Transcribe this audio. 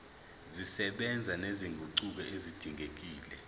zisebenza nezinguquko ezidingekile